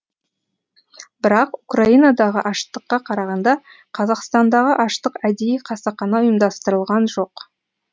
бірақ украинадағы аштыққа қарағанда қазақстандағы аштық әдейі қасақана ұйымдастырылған жоқ